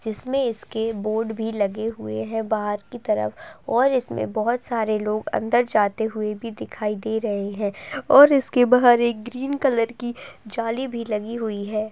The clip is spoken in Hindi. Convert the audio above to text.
जिसमें इस के बोर्ड भी लगे हुए हैं बाहर की तरफ और इसमें बहोत सारे लोग अन्दर जाते हुए भी दिखाई दे रहे हैं और इसके बाहर एक ग्रीन कलर की जाली भी लगी हुई है।